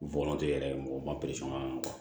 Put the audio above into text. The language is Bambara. Bɔnɔntɛ yɛrɛ mɔgɔw ma